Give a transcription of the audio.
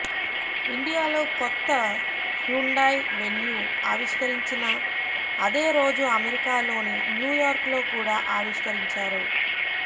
ఇండియాలో కొత్త Hyundai Venue ఆవిష్కరించిన అదే రోజు అమెరికాలోని న్యూయార్క్ లో కూడా ఆవిష్కరించారు